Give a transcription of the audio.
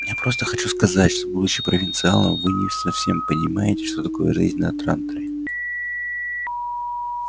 я просто хочу сказать что будучи провинциалом вы не совсем понимаете что такое жизнь на транторе